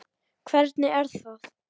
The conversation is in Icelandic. Hvernig er það?